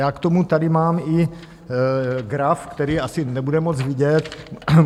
Já k tomu tady mám i graf , který asi nebude moc vidět.